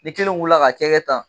Ni kelen wula k'a cɛ kɛ tan